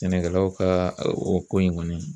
Sɛnɛkɛlaw ka o o ko in kɔni